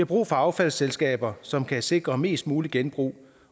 brug for affaldsselskaber som kan sikre mest mulig genbrug